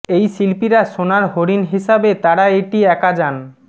এই শিল্পীরা সোনার হরিণ হিসাবে তারা এটি একা যান